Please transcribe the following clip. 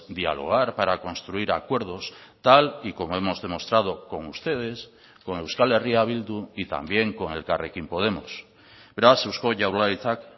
dialogar para construir acuerdos tal y como hemos demostrado con ustedes con euskal herria bildu y también con elkarrekin podemos beraz eusko jaurlaritzak